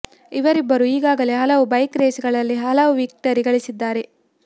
ಇವರಿಬ್ಬರು ಈಗಾಗಲೇ ಹಲವು ಬೈಕ್ ರೇಸ್ ಗಳಲ್ಲಿ ಹಲವು ವಿಕ್ಟರಿ ಗಳಿಸಿದ್ದಾರೆ